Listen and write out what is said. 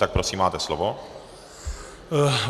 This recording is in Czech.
Tak prosím, máte slovo.